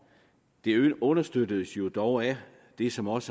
det understøttedes jo dog af det som også